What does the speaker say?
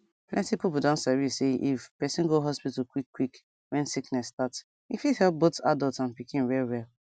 plenty people don dey sabi say if person go hospital quick quick when sickness start e fit help both adults and pikin well well